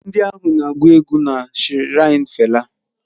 Ndị ahụ na-agụ egwú na shiraini fela